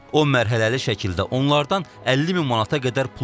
O mərhələli şəkildə onlardan 50 min manata qədər pul oğurlayıb.